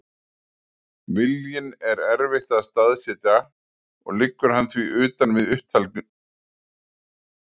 Viljann er erfitt að staðsetja og liggur hann því utan við upptalninguna hér að framan.